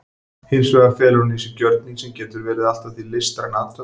Hins vegar felur hann í sér gjörning sem getur verið allt að því listræn athöfn.